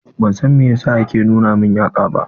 Ban san meyasa yake nuna min yatsa ba.